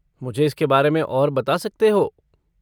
मुझे इसके बारे में और बता सकते हो?